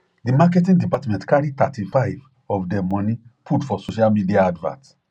di marketing department carry 35 of dem money put for social media advert